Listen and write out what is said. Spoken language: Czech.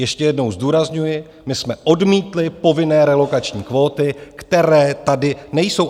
Ještě jednou zdůrazňuji: My jsme odmítli povinné relokační kvóty, které tady nejsou.